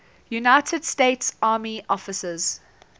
united states army officers